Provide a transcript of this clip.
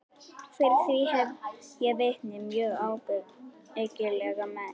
Fyrir því hef ég vitni, mjög ábyggilega menn.